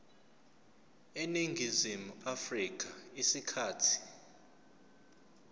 eningizimu afrika isikhathi